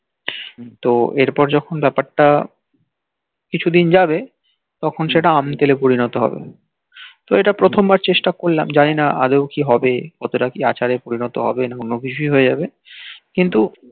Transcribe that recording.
তো এরপর যখন বাপার টা কিছু দিন যাবে তখন সেটা আম তেলে পরিনত হবে তো এটা প্রথম বার চেষ্টা করলাম যানি না আদেও কি হবে কতোটা আচারে পরিনত হবে না অন্য কিছুই হয়ে যাবে